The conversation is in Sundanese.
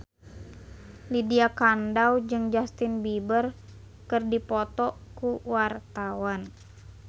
Lydia Kandou jeung Justin Beiber keur dipoto ku wartawan